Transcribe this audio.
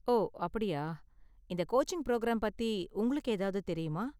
ஓ, அப்படியா? இந்த coaching programme பத்தி உங்களுக்கு ஏதாவது தெரியுமா?